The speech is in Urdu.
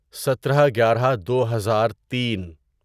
سترہ گیارہ دوہزار تین